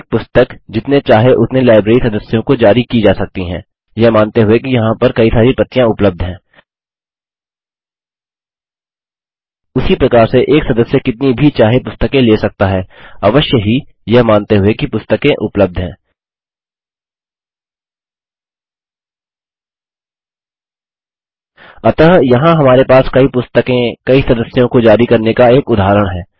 एक पुस्तक जितने चाहे उतने लाइब्रेरी सदस्यों को जारी की जा सकती है यह मानते हुए कि यहाँ पर कई सारी प्रतियाँ उपलब्ध हैं उसी प्रकार से एक सदस्य कितनी भी चाहे पुस्तकें ले सकता हैअवश्य ही यह मानते हुए कि पुस्तकें उपलब्ध हैं अतः यहाँ हमारे पास कई पुस्तकें कई सदयों को जारी करने का एक उदाहरण है